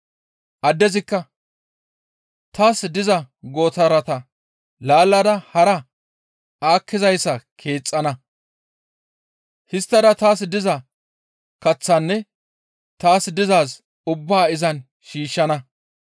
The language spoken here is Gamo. «Addezikka, ‹Taas diza gootarata laallada hara aakkizayssa keexxana; histtada taas diza kaththaanne taas dizaaz ubbaa izan shiishshana.